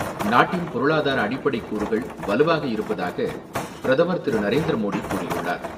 நாட்டின் பொருளதார அடிப்படைக் கூறுகள் வலுவாக இருப்பதாக பிரதமர் திரு.நரேந்திர மோடி கூறியுள்ளார்.